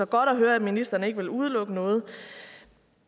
godt at høre at ministeren ikke vil udelukke noget